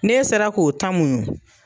N'e sera k'o ta muɲu